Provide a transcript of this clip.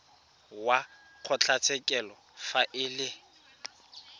wa kgotlatshekelo fa e le